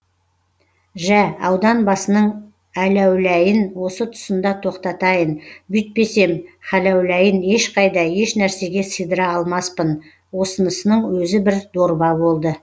жә ауданбасының әләуләйін осы тұсында тоқтатайын бүйтпесем хәләуләйін ешқайда ешнәрсеге сыйдыра алмаспын осынысының өзі бір дорба болды